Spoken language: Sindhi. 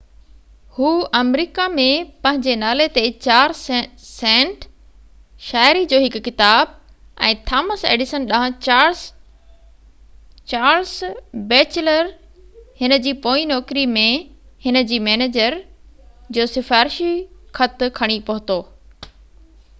هُو آمريڪا ۾ پنهنجي نالي تي 4 سينٽ، شاعري جو هڪ ڪتاب، ۽ ٿامس ايڊيسن ڏانهن چارلس بيٽچلر هن جي پوئين نوڪري ۾ هن جي مئنيجر جو سفارشي خط کڻي پهتو